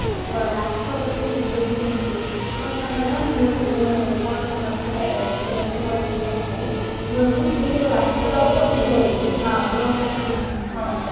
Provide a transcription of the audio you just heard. ରାଷ୍ଟ୍ରପତି ହେଇଛନ୍ତି କଣ ତାଙ୍କ ନା ମୁର୍ମୁ କଣ ତାଙ୍କ ନା ଟା ଭଲସେ ମୋର ମନେ ନାହି ମୁର୍ମୁ ସେ ଦ୍ରୌପଦୀ ମୁର୍ମୁ